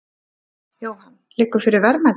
Jóhann: Liggur fyrir verðmæti?